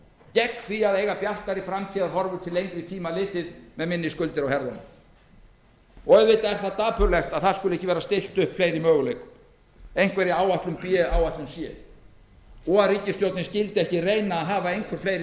gegn því að eiga bjartari framtíðarhorfur til lengri tíma litið með minni skuldir á herðunum auðvitað er það dapurlegt að ekki skuli vera stillt upp fleiri möguleikum einhverri áætlun b áætlun c og að ríkisstjórnin skyldi ekki reyna að hafa einhver fleiri